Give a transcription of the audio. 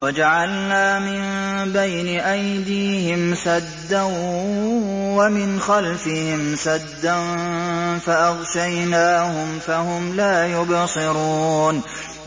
وَجَعَلْنَا مِن بَيْنِ أَيْدِيهِمْ سَدًّا وَمِنْ خَلْفِهِمْ سَدًّا فَأَغْشَيْنَاهُمْ فَهُمْ لَا يُبْصِرُونَ